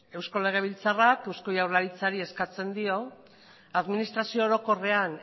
eusko legebiltzarrak eusko jaurlaritzari eskatzen dio administrazio orokorrean